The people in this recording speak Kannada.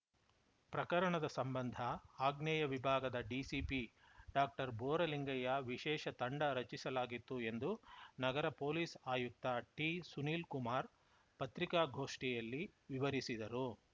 ಪ್ರಕರಣದ ಸಂಬಂಧ ಆಗ್ನೇಯ ವಿಭಾಗದ ಡಿಸಿಪಿ ಡಾಕ್ಟರ್ಬೋರಲಿಂಗಯ್ಯ ವಿಶೇಷ ತಂಡ ರಚಿಸಲಾಗಿತ್ತು ಎಂದು ನಗರ ಪೊಲೀಸ್‌ ಆಯುಕ್ತ ಟಿಸುನೀಲ್‌ ಕುಮಾರ್‌ ಪತ್ರಿಕಾಗೋಷ್ಠಿಯಲ್ಲಿ ವಿವರಿಸಿದರು